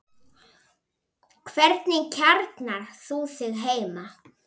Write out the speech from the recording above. Hvernig kjarnar þú þig heima?